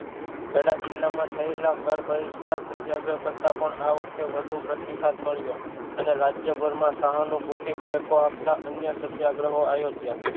ખેડા જિલ્લા માં થયેલા કર બહિષ્કાર સત્યાગ્રહ કરતાં પણ આ વખતે વધુ પ્રતિસાદ મળ્યો અને રાજ્યભર માં સહાનુભૂતિ ટેકો આપતા અન્ય સત્યાગ્રહો આયોજ્યા